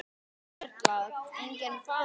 Erla: Enginn vafi?